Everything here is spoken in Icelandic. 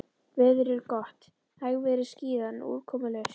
Veður er gott, hægviðri, skýjað, en úrkomulaust.